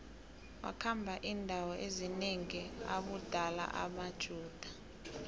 wakhamba indawo ezinengi abulala amajuda